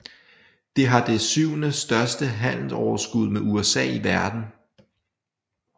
Det har det syvende største handelsoverskud med USA i verden